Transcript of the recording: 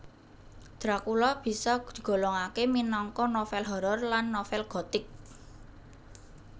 Dracula bisa digolongake minangka novel horror lan novel gothic